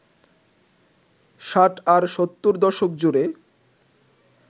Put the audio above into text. ষাট আর সত্তর দশক জুড়ে